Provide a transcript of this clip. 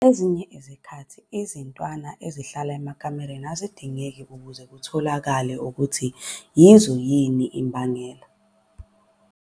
Ezikhathini eziningi izintwana ezihlala emakakeni azidingeki ukuze kutholakale ukuthi yizo yini imbangela.